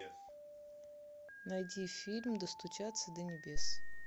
найди фильм достучаться до небес